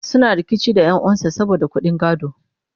suna rikici da ƴan'uwan sa saboda ƙuɗin gado